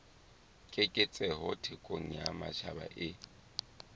keketseho thekong ya matjhaba e